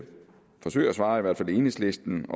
svare enhedslisten